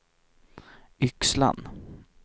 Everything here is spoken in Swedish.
Yxlan